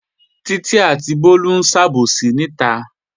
Títí àti Bólú ń sàbòsí níta